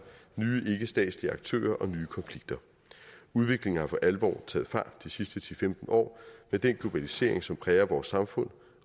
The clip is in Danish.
nye ikkestatslige aktører og nye konflikter udviklingen har for alvor taget fart de sidste ti til femten år med den globalisering som præger vores samfund